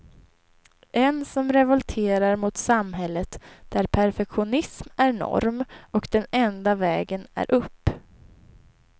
En som revolterar mot samhället där perfektionism är norm och den enda vägen är upp.